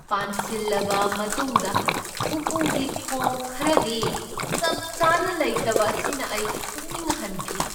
ꯄꯥꯟꯁꯤꯜꯂꯕ ꯃꯇꯨꯡꯗ ꯎꯄꯨꯒꯤ ꯊꯣꯡ ꯈꯔꯗꯤ ꯆꯞ ꯆꯥꯅ ꯂꯩꯇꯕ ꯑꯁꯤꯅ ꯑꯩ ꯄꯨꯛꯅꯤꯡ ꯍꯟꯈꯤ꯫